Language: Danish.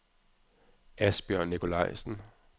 Asbjørn Nicolajsen